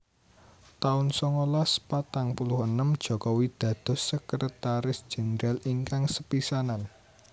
taun songolas patang puluh enem Jokowi dados Sekretaris Jendral ingkang sepisanan